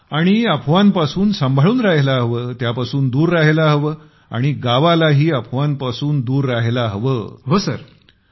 आणि अफवांपासून सांभाळून राहायला हवं त्यापासून दूर राहायला हवं आणि गावालाही अफवांपासून दूर ठेवत वाचवायला हवं